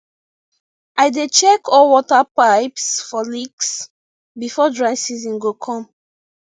i dey check all water pipes for leaks before dry season go come